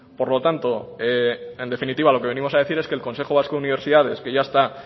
por lo tanto en definitiva lo que venimos a decir es que el consejo vasco de universidades que ya está